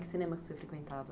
Que cinema você frequentava?